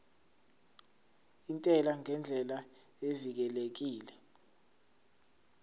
intela ngendlela evikelekile